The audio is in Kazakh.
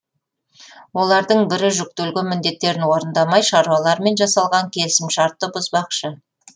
олардың бірі жүктелген міндеттерін орындамай шаруалармен жасалған келісімшартты бұзбақшы